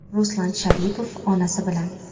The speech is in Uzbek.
Ruslan Sharipov onasi bilan.